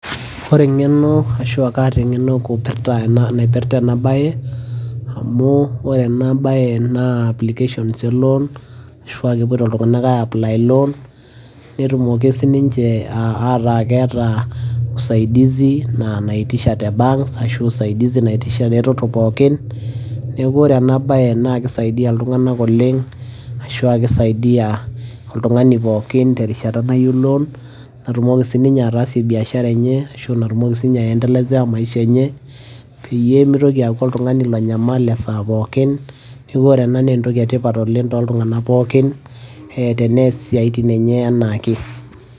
Ore eng'eno ashua kaata eng'eno kupirta ena naipirta enabae, amu ore enabae na application elon, ashua kepoito iltung'anak ai apply loan, netumoki sininche ataa keeta usaidizi ina naitisha te banks ashu, usaidizi naitisha ereteto pookin. Neeku ore enabae na kisaidia iltung'anak oleng',ashua kisaidia oltung'ani pookin terishata nayu loan ,natumoki sininye ataasie biashara enye, ashu natumoki sinye aendelezea maisha enye, peyie mitoki aaku oltung'ani lonyamal esaa pookin. Neku ore ena ne entoki etipat toltung'anak pookin, eh tenees isiaitin enye enaake.